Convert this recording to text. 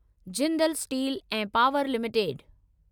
Jindal steel ऐं power limited